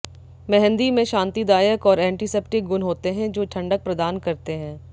मेहंदी में शांतिदायक और एंटीसेप्टिक गुण होते हैं जो ठंडक प्रदान करते हैं